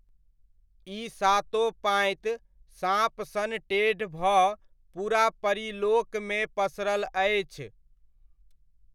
ई सातो पाँति साँप सन टेढ़ भऽ पूरा परीलोकमे पसरल अछि।